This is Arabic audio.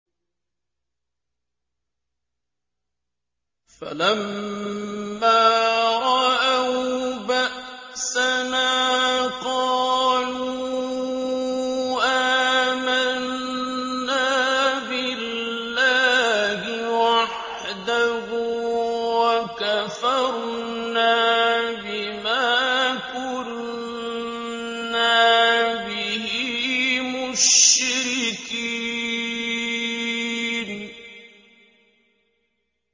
فَلَمَّا رَأَوْا بَأْسَنَا قَالُوا آمَنَّا بِاللَّهِ وَحْدَهُ وَكَفَرْنَا بِمَا كُنَّا بِهِ مُشْرِكِينَ